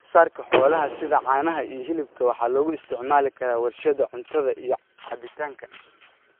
Wax soo saarka xoolaha sida caanaha iyo hilibka waxaa lagu isticmaali karaa warshadaha cuntada iyo cabitaanka.